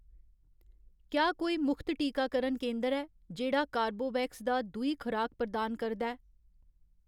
क्या कोई मुख्त टीकाकरण केंदर ऐ जेह्ड़ा कॉर्बेवैक्स . दा दूई खराक प्रदान करदा ऐ